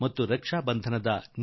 ಇದೇ ನಿಜಾರ್ಥದಲ್ಲಿ ರಕ್ಷಾ ಬಂಧನ